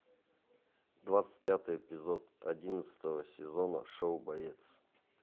двадцать пятый эпизод одиннадцатого сезона шоу боец